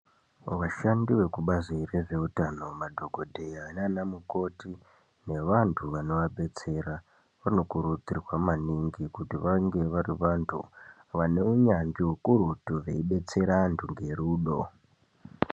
Vashandi vekubazi rezveutano madhokodheya nana mukoti nevantu vanovabetsera vanokurudzirwa maningi kuti vange vari vantu vaneunyanzvi hukurutu veyibatsira vantu ngerudo